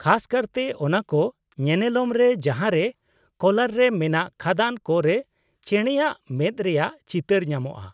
ᱠᱷᱟᱥ ᱠᱟᱨᱛᱮ ᱚᱱᱟ ᱠᱚ ᱧᱮᱱᱮᱞᱚᱢ ᱨᱮ ᱡᱟᱦᱟᱸᱨᱮ ᱠᱳᱞᱟᱨ ᱨᱮ ᱢᱮᱱᱟᱜ ᱠᱷᱟᱫᱟᱱ ᱠᱚ ᱨᱮ ᱪᱮᱬᱮᱭᱟᱜ ᱢᱮᱫ ᱨᱮᱭᱟᱜ ᱪᱤᱛᱟᱹᱨ ᱧᱟᱢᱚᱜᱼᱟ ᱾